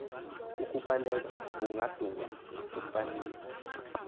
ukubaleka kukadunga kufaniswa